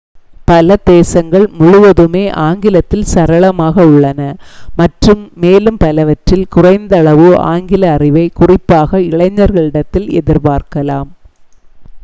பல தேசங்கள் முழுவதுமே ஆங்கிலத்தில் சரளமாக உள்ளன மற்றும் மேலும் பலவற்றில் குறைந்த அளவு ஆங்கில அறிவை குறிப்பாக இளைஞர்களிடத்தில் எதிர் பார்க்கலாம்